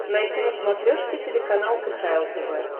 найти на смотрешке телеканал кхл тв